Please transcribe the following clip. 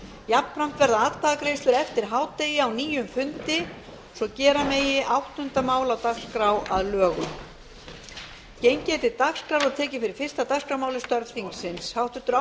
jafnframt verða atkvæðagreiðslur eftir hádegi á nýjum fundi svo gera megi áttunda mál á dagskrá að lögum